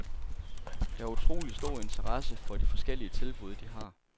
Der er utrolig stor interesse for de forskellige tilbud, de har.